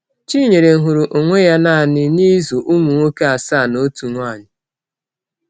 Chinyere hụrụ onwe ya naanị n’ịzụ ụmụ nwoke asaa na otu nwaanyị.